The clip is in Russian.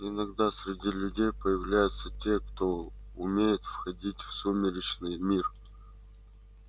иногда среди людей появляются те кто умеет входить в сумеречный мир